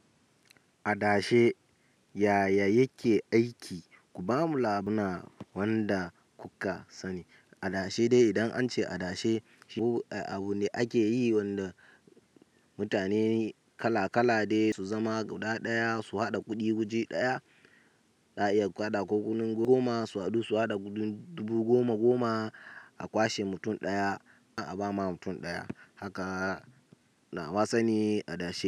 Adashe yaya yake aiki? Ku bamu labuna wanda kuka sani. Adashe dai idan an ce adashe abu ne ake yi wanda mutane kalakala dai su zama gudaya sun haɗa kuɗi waji ɗaya za a iya kuhada kuku goma su haɗu su haɗa dubu goma goma a kwashe mutum ɗaya abama mutum ɗaya. Haka na wasa ni adashe.